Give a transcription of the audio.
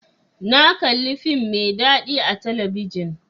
Na kalli fim mai dadi a talabijin.